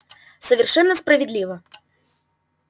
совершенно справедливо